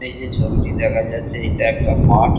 এই যে ছবিটি দেখা যাচ্ছে এটা একটা মাঠ।